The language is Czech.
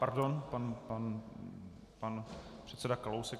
- Pardon, pan předseda Kalousek.